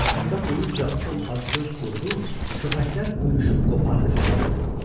Yaxında duyunca o acgöz qurdu, köpəklər hürüşüb qopardı fəryad.